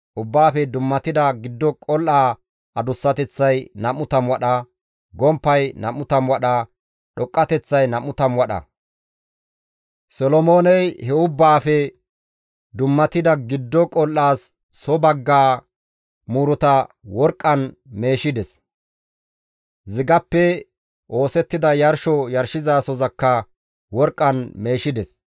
Ubbaafe dummatida giddo qol7aa adussateththay 20 wadha, gomppay 20 wadha, dhoqqateththay 20 wadha. Solomooney he Ubbaafe dummatida giddo qol7aas soo baggaa muuruta worqqan meeshides; zigappe oosettida yarsho yarshizasozakka worqqan meeshides.